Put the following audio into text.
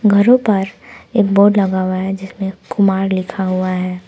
घरों पर एक बोर्ड लगा हुआ है जिसमें कुमार लिखा हुआ है।